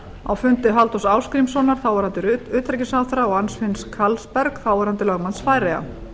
á fundi halldórs ásgrímssonar þáverandi utanríkisráðherra og anfinns hvalberg þáverandi lögmanns færeyja